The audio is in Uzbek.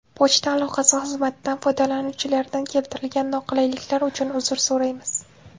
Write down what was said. Pochta aloqasi xizmatidan foydalanuvchilaridan keltirilgan noqulayliklar uchun uzr so‘raymiz.